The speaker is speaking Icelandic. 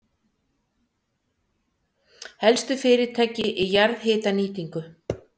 Helstu fyrirtæki í jarðhitanýtingu